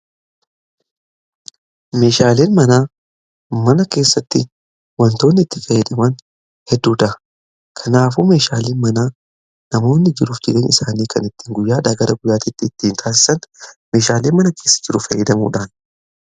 meeshaaleen mana mana keessatti wantoonni itti fayyadamnu hedduudha kanaafuu meeshaalee mana namoonni jiruuf jireenya isaanii kan ittiin guyyaadhaa gara guyyaatitti ittiin taasisan meeshaalee mana keessa jiruuf fayydamuudhani.